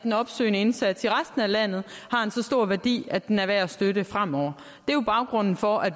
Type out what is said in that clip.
den opsøgende indsats i resten af landet har en så stor værdi at den er værd at støtte fremover det er jo baggrunden for at